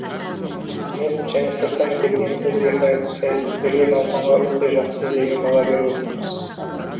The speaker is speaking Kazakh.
мен және сырттан келген өзге саясаткерлер науқанға өте жақсы деген баға беріп отырмыз